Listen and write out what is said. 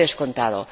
¡Por descontado!